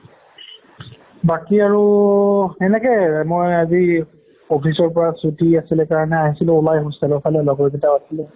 বাকী আৰু সেনেকেই মই আজি office ৰ পৰা ছুটি আছিলে কাৰণে আহিছিলো ওলাই hostel ৰ ফালে লগৰকিটাও আছিলে